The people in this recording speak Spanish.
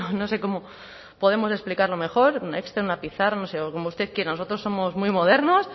no sé cómo podemos explicarlo mejor un excel una pizarra no sé o como usted quiera nosotros somos muy modernos